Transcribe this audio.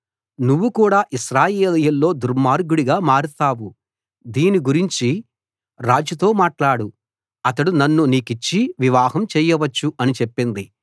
నువ్వు కూడా ఇశ్రాయేలీయుల్లో దుర్మార్గుడిగా మారతావు దీని గూర్చి రాజుతో మాట్లాడు అతడు నన్ను నీకిచ్చి వివాహం చేయవచ్చు అని చెప్పింది